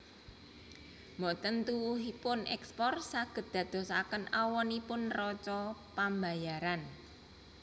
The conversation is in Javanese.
Mboten tuwuhipun èkspor saged ndadosaken awonipun neraca pambayaran